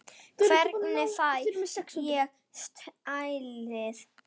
Hvenær fæ ég saltið?